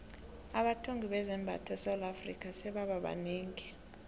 abathungi bezambatho esewula afrika sebaba banengi